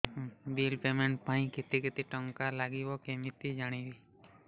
bill payment ପାଇଁ କେତେ କେତେ ଟଙ୍କା ଲାଗିବ କେମିତି ଜାଣିବି